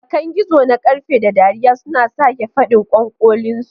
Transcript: Bakan gizo na ƙarfe, da dariya suna sake faɗin ƙwanƙolinsu.